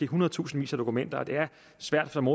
hundredtusindvis af dokumenter og det er svært som